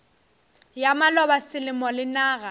ya maloba selemo le naga